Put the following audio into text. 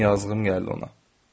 Yaman yazığım gəldi ona.